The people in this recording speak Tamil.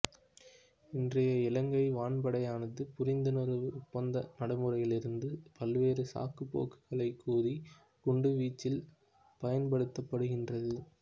இன்றைய இலங்கை வான்படையானது புரிந்துணர்வு ஒப்பந்தம் நடைமுறையிலிருந்தும் பல்வேறு சாக்குப் போக்குகளைக் கூறி குண்டுவீச்சில் பயன்படுத்தப்படுகின்றது